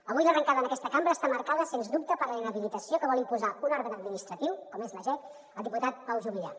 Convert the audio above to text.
avui l’arrencada en aquesta cambra està marcada sens dubte per la inhabilitació que vol imposar un òrgan administratiu com és la jec al diputat pau juvillà